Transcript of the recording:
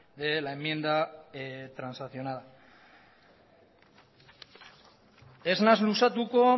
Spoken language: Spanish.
de la enmienda transaccional ez naiz luzatuko